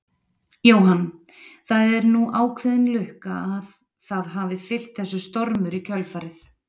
Jóhann: Það er nú ákveðin lukka að það hafi fylgt þessu stormur í kjölfarið?